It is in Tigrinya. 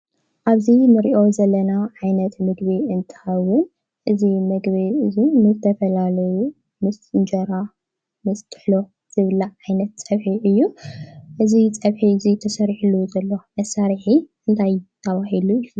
ኣብዚ እንሪኦ ዘለና ዓይነት ምግቢ እንትከውን እዚ ምግቢ እዚ ንዝተፈላለዩ ምስ እንጀራ ምስ ጥሕሎ ዝብላዕ ዓይነት ፀብሒ እዮ እዚ ፀብሒ እዚ ተሰሪሕሉ ዘሎ መሳርሒ እንታይ ተባሂሉ ይፍ